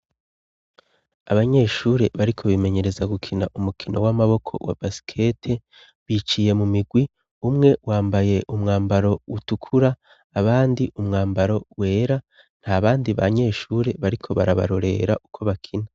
Abanyeshuri bariko bimenyereza gukina umukino w'amaboko wa basikete biciye mu migwi, umwe wambaye umwambaro utukura abandi umwambaro wera nta bandi banyeshure bariko barabarorera uko bakina.